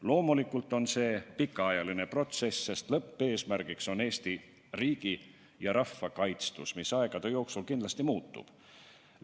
Loomulikult on see pikaajaline protsess, sest lõppeesmärk on Eesti riigi ja rahva kaitstus, mis aegade jooksul kindlasti muutub.